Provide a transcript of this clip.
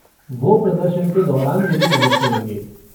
वो प्रदर्शन के दौरान मेरी मदद करेंगे।